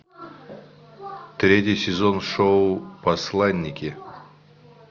третий сезон шоу посланники